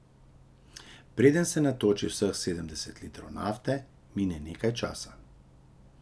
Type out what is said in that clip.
Preden se natoči vseh sedemdeset litrov nafte, mine nekaj časa.